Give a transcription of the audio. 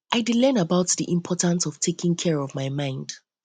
i dey learn about um di important of taking um care of my mind